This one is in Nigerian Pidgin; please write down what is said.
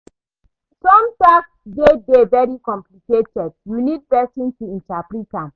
Some tax system dey dey very complicated you need person to interprete am